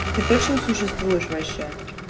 ты точно существуешь вообще